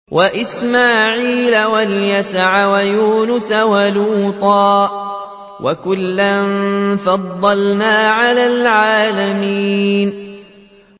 وَإِسْمَاعِيلَ وَالْيَسَعَ وَيُونُسَ وَلُوطًا ۚ وَكُلًّا فَضَّلْنَا عَلَى الْعَالَمِينَ